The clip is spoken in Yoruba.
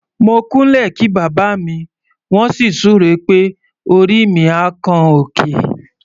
Mo kúnlẹ̀ kí bàbá mi, wọ́n sì súre pé "orí mi á kan òkè".